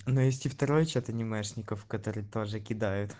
навести второй чат анимешников который тоже кидают